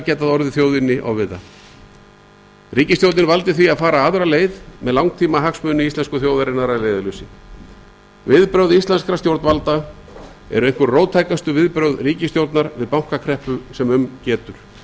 getað orðið þjóðinni ofviða ríkisstjórnin valdi því að fara aðra leið með langtímahagsmuni íslensku þjóðarinnar að leiðarljósi viðbrögð íslenskra stjórnvalda eru einhver róttækustu viðbrögð ríkisstjórnar við bankakreppu sem um getur